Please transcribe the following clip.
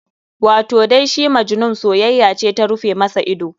Wato dai shi Majnun soyayya ce ta rufe masa ido.